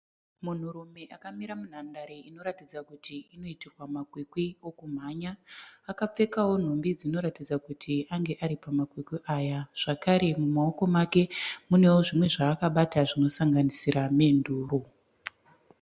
Munhurume akamira munhandare inoratidza kuti inoitirwa makwikwi okumhanya. Akapfekawo nhumbi dzinoratidza kuti ange ari pamakwikwi aya zvakare mumaoko make munewo zvimwe zvaakabata zvinosanganisira menduro.